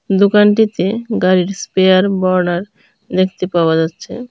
দোকানটিতে গাড়ির spare border দেখতে পাওয়া যাচ্ছে।